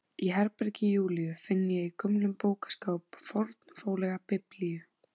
Í herbergi Júlíu finn ég í gömlum bókaskáp fornfálega Biblíu.